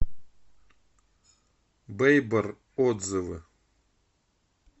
бэйбор отзывы